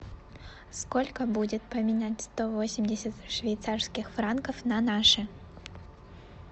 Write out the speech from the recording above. сколько будет поменять сто восемьдесят швейцарских франков на наши